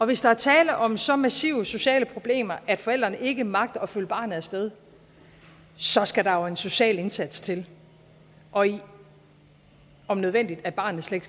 hvis der er tale om så massive sociale problemer at forældrene ikke magter at følge barnet af sted så skal der jo en social indsats til og om nødvendigt at barnet slet